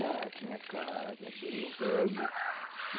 Já tinha casa, veio o velho.